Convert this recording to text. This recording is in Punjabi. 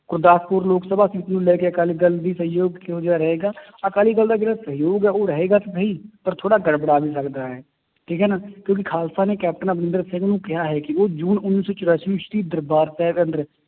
ਗੁਰਦਾਸਪੁਰ ਲੋਕ ਸਭਾ ਸੀਟ ਨੂੰ ਲੈ ਕੇ ਅਕਾਲੀ ਦਲ ਦੀ ਸਹਿਯੋਗ ਕਿਹੋ ਜਿਹਾ ਰਹੇਗਾ ਅਕਾਲੀ ਦਲ ਦਾ ਜਿਹੜਾ ਸਹਿਯੋਗ ਹੈ ਉਹ ਰਹੇਗਾ ਕਿ ਨਹੀਂ ਪਰ ਥੋੜ੍ਹਾ ਗੜਬੜਾ ਵੀ ਸਕਦਾ ਹੈ, ਠੀਕ ਹੈ ਨਾ ਕਿਉਂਕਿ ਖਾਲਸਾ ਨੇ ਕੈਪਟਨ ਅਮਰਿੰਦਰ ਸਿੰਘ ਨੂੰ ਕਿਹਾ ਹੈ ਕਿ ਉਹ ਜੂਨ ਉੱਨੀ ਸੌ ਚੁਰਾਸੀ ਵਿੱਚ ਦਰਬਾਰ ਸਾਹਿਬ